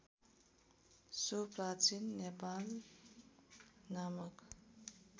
so प्राचीन नेपाल नामक